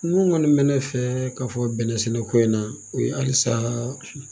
Mun kɔni bɛ ne fɛ ka fɔ bɛnɛsɛnɛko in na o ye halisa